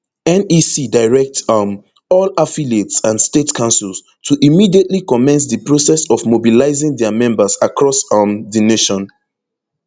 nec direct um all affiliates and state councils to immediately commence di process of mobilizing dia members across um di nation